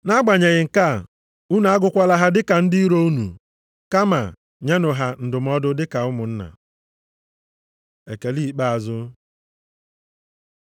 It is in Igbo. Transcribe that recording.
Nʼagbanyeghị nke a, unu agụkwala ha dị ka ndị iro unu, kama nyenụ ha ndụmọdụ dị ka ụmụnna. Ekele ikpeazụ